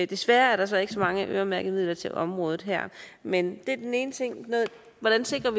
desværre er der så ikke så mange øremærkede midler til området her men det er den ene ting altså